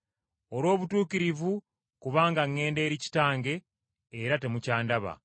olw’obutuukirivu kubanga ŋŋenda eri Kitange era temukyandaba,